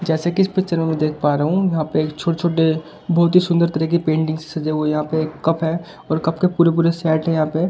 जैसे कि इस पिक्चर में मैं देख पा रहा हूं यहां पे छोटे-छोटे बहुत ही सुंदर तरह की पेंटिंग सजे हुए यहां पे कप है और कप के पूरे पूरे सेट है यहां पे।